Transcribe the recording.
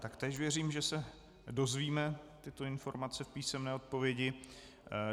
Taktéž věřím, že se dozvíme tyto informace v písemné odpovědi.